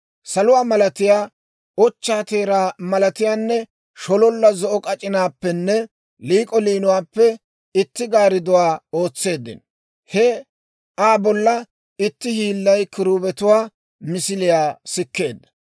Saluwaa malatiyaa, ochchaa teeraa malatiyaanne, shololla zo'o k'ac'inaappenne liik'o liinuwaappe itti gaaridduwaa ootseeddino. He Aa bolla itti hiillay kiruubetuwaa misiliyaa sikkeedda.